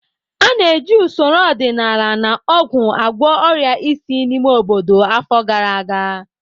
A na-eji usoro ọdịnala na ọgwụ agwọ ọrịa isi n'ime obodo afọ gara aga.